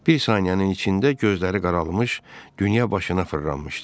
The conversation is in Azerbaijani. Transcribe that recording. Bir saniyənin içində gözləri qaralmış, dünya başına fırlanmışdı.